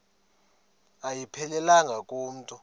ayiphelelanga ku mntu